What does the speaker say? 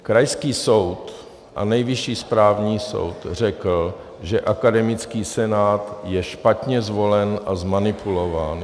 Krajský soud a Nejvyšší správní soud řekl, že akademický senát je špatně zvolen a zmanipulován.